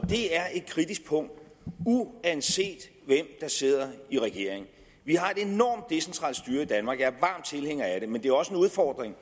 det er et kritisk punkt uanset hvem der sidder i regering vi har et enormt decentralt styre i danmark er varm tilhænger af det men det er også en udfordring